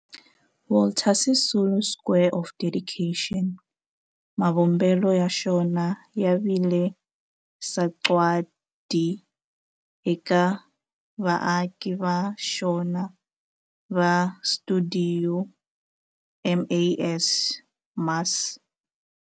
Walter Sisulu Square of Dedication, mavumbelo ya xona ya vile sagwadi eka vaaki va xona va stuidio MAS.